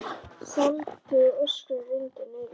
Sandi og ösku rigndi niður.